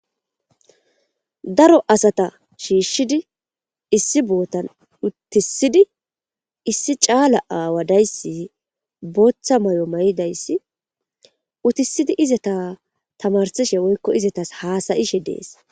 Daro asata shiiahid issi botan utisid issi cala awa days bootha mayo mayidays utisid izeta tamarishe woyko Izetas hasa'ishe des.